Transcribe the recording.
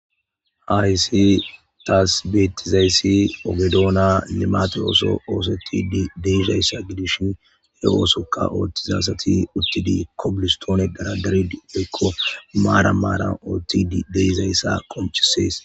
Haysi taasbeetizayssi ogedoona nimate ooso oosetti deizayssa gidishin he oosoka oothtizasati uttidi kobilistoone gara dared weykko maara maaran oothti deizayssa qonchisees.